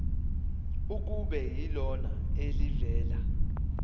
kube yilona elivela